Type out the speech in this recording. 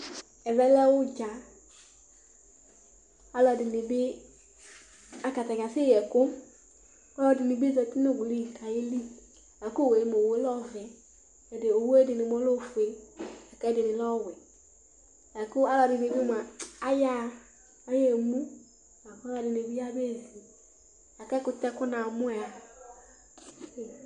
Ɛvɛ lɛ ʋɖza Aalʋɛɖinibi ase yii ɛkʋ Aalʋɛɖinibi zɛti n'ʋwui k'aeeli kɛ owuɛlɛ ɔvɛOwuɛɖibi lɛ ofue, k'ɛɖini lɛ ɔwuɛla kʋ alʋɛɖinib moa ayaa, ayee muk'alʋɛɖinibi ayei zi La k'ɛkʋtɛ konamoaa